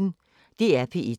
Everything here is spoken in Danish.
DR P1